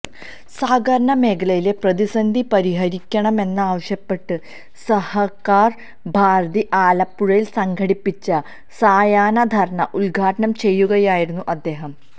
സഹകരണ മേഖലയിലെ പ്രതിസന്ധി പരിഹരിക്കണമെന്നാവശ്യപ്പെട്ട് സഹകാര് ഭാരതി ആലപ്പുഴയില് സംഘടിപ്പിച്ച സായാഹ്ന ധര്ണ്ണ ഉദ്ഘാടനം ചെയ്യുകയായിരുന്നു അദ്ദേഹം